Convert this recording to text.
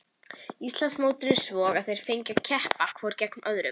Íslandsmótinu svo að þeir fengju að keppa hvor gegn öðrum.